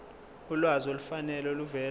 ulwazi olufanele oluvela